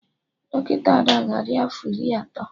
Dọkịta Ada ga adị afọ Iri atọ